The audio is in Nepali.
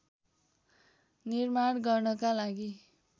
निर्माण गर्नका लागि